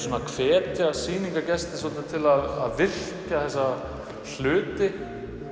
að hvetja sýningargesti til að virkja þessa hluti